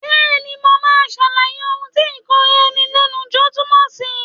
Bẹ́ẹ̀ni, mo máa ṣàlàyé ohun tí ìkóra ẹni ní ìjánu túmọ̀ sí.